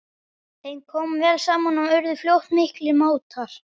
Þeim kom vel saman og urðu fljótt miklir mátar.